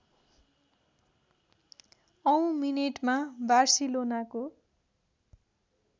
औँ मिनेटमा बार्सिलोनाको